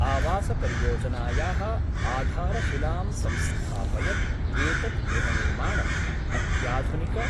आवास परियोजनायाः आधारशिलां संस्थापयत् एतद् गृहनिर्माणं अत्याधुनिक